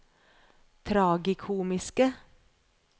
tragikomiske